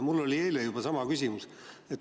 Mul oli eile sama küsimus.